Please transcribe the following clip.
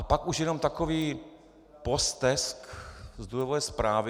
A pak už jenom takový postesk z důvodové zprávy.